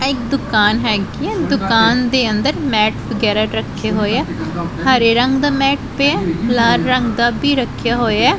ਐ ਇੱਕ ਦੁਕਾਨ ਹੈਗੀ ਐ ਦੁਕਾਨ ਦੇ ਅੰਦਰ ਮੈਟ ਵਗੈਰਾ ਰੱਖੇ ਹੋਏ ਆ ਹਰੇ ਰੰਗ ਦਾ ਮੈਟ ਪਿਐ ਲਾਲ ਰੰਗ ਦਾ ਭੀ ਰੱਖਿਆ ਹੋਇਐ।